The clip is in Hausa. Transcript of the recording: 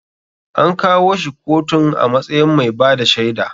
An kawo shi kotun a matsayin mai bada shaida